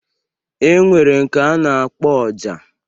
E nwere nke a na-akpọ Ọjà.